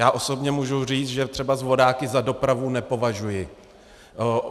Já osobně můžu říct, že třeba vodáky za dopravu nepovažuji.